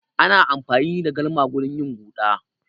Ana amfani da galma wurin yin huɗa.